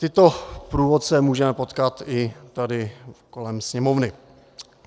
Tyto průvodce můžeme potkat i tady kolem Sněmovny.